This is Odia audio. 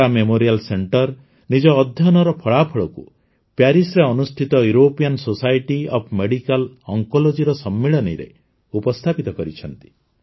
ଟାଟା ମେମୋରିଆଲ ସେଣ୍ଟର ନିଜ ଅଧ୍ୟୟନର ଫଳାଫଳକୁ ପ୍ୟାରିସ୍ରେ ଅନୁଷ୍ଠିତ ୟୁରୋପିଆନ୍ ସୋସାଇଟି ଅଫ୍ ମେଡିକାଲ ଅନ୍କୋଲୋଜିର ସମ୍ମିଳନୀରେ ଉପସ୍ଥାପିତ କରିଛନ୍ତି